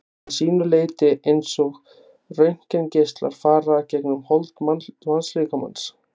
að sínu leyti eins og röntgengeislar fara gegnum hold mannslíkamans.